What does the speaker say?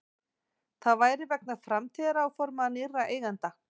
Það væri vegna framtíðaráforma nýrra eigenda